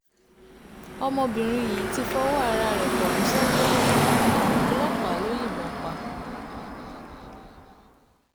ọmọbìnrin yìí ti fọwọ́ ara ẹ̀ kọ̀wé sọ́gbà ẹ̀wọ̀n ọlọ́pàá ló yìnbọn pa